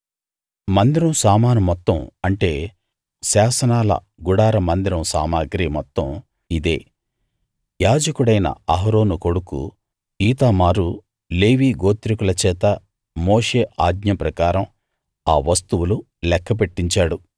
మందిరం సామాను మొత్తం అంటే శాసనాల గుడార మందిరం సామగ్రి మొత్తం ఇదే యాజకుడైన అహరోను కొడుకు ఈతామారు లేవీ గోత్రికుల చేత మోషే ఆజ్ఞ ప్రకారం ఆ వస్తువులు లెక్క పెట్టించాడు